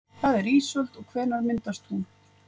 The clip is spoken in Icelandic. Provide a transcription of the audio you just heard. Hvað er ísöld og hvenær myndast hún?